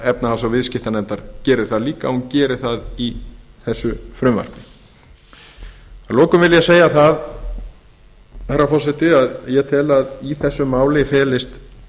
efnahags og viðskiptanefndar gerir það líka hún gerir það í þessu frumvarpi að lokum vil ég segja herra forseti að ég tel að í þessu máli felist